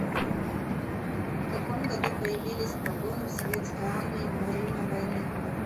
в каком году появились погоны в советской армии во время войны